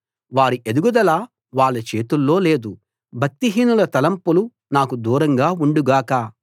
వారి ఎదుగుదల వాళ్ళ చేతుల్లో లేదు భక్తిహీనుల తలంపులు నాకు దూరంగా ఉండుగాక